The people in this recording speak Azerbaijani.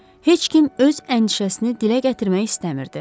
Heç kim öz əndişəsini dilə gətirmək istəmirdi.